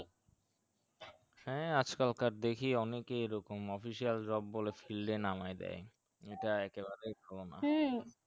হ্যাঁ আজকালর দেখি অনেকেই এরকম official job বলে field নামায় দেয় এটা একে বারেই আছে